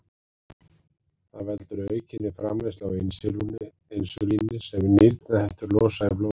Það veldur aukinni framleiðslu á insúlíni sem nýrnahettur losa í blóðrásina.